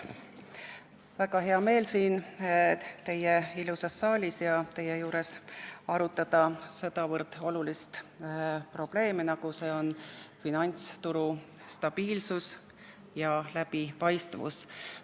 Mul on väga hea meel siin teie ilusas saalis arutada sedavõrd olulist probleemi, nagu on finantsturu stabiilsus ja läbipaistvus.